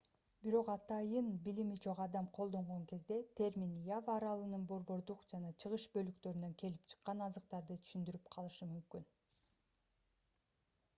бирок атайын билими жок адам колдонгон кезде термин ява аралынын борбордук жана чыгыш бөлүктөрүнөн келип чыккан азыктарды түшүндүрүп калышы мүмкүн